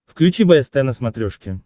включи бст на смотрешке